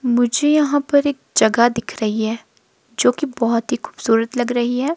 मुझे यहां पर एक जगह दिख रही है जो कि बहुत ही खूबसूरत लग रही है।